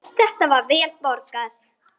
Þetta er vel borgað.